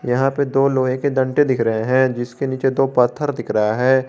यहां पे दो लोहे के डंडे दिख रहे हैं जिसके नीचे दो पत्थर दिख रहे हैं।